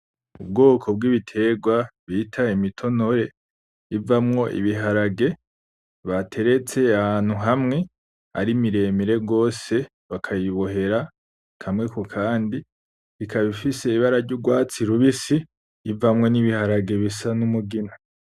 Ubwoko bw,ibiterwa bita imitonore ivamwo ibiharage bateretse ahantu hamwe ari miremire gose bakayibohera kamwe kukandi ikaba ifise ibara ry,urwatsi rubisi ivamwo n,ibaharage bisa n,umugina.